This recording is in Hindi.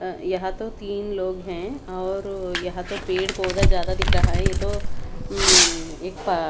यहां तो तीन लोग हैं और यहां तो पेड़ पौधा ज्यादा दिख रहा है ये तो उम् एक पा--